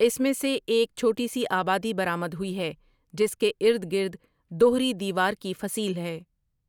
اس میں سے ایک چھوٹی سی آبادی برآمد ہوئی ہے جس کے ارد گرد دہری دیوار کی فصیل ہے ۔